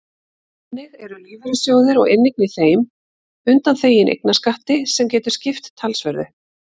Þannig eru lífeyrissjóðir og inneign í þeim undanþegin eignarskatti sem getur skipt talsverðu.